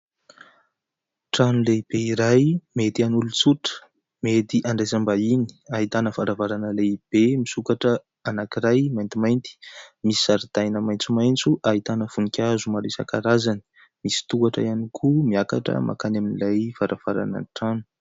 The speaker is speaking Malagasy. Trano lehibe iray mety an'olon-tsotra, mety handraisam-bahiny. Ahitana varavarana lehibe misokatra anankiray maintimainty, misy zaridaina maitsomaitso ahitana voninkazo maro isan-karazany, misy tohatra ihany koa miakatra makany amin'ilay varavaranan'ny trano.